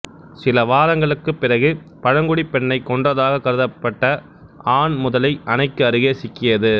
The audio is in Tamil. சில வாரங்களுக்குப் பிறகு பழங்குடிப் பெண்ணைக் கொன்றதக கருதப்பட்ட ஆண் முதலை அணைக்கு அருகே சிக்கியது